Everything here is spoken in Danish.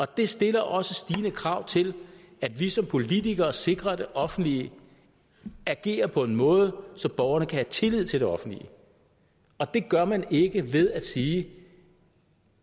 det stiller også stigende krav til at vi som politikere sikrer at det offentlige agerer på en måde så borgerne kan have tillid til det offentlige og det gør man ikke ved at sige